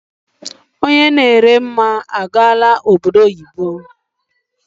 Onye na ere mmamkpa agaala obodo oyibo.